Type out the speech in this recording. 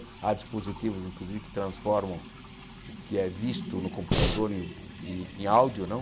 Há dispositivos, inclusive, que transformam o que é visto no computador em em áudio, não?